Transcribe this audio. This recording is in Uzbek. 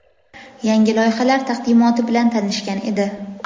yangi loyihalar taqdimoti bilan tanishgan edi.